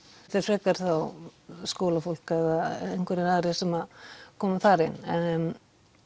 þetta er frekar þá skólafólk eða einhverjir aðrir sem koma þar inn en